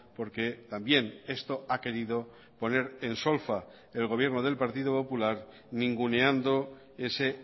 porque también esto ha querido poner en solfa el gobierno del partido popular ninguneando ese